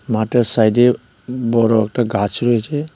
মাঠের সাইডে ব-বড়ো একটা গাছ রয়েছে.